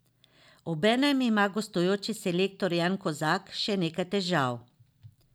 Obenem ima gostujoči selektor Jan Kozak še nekaj težav.